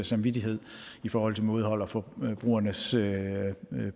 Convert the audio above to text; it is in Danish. samvittighed i forhold til mådehold og forbrugernes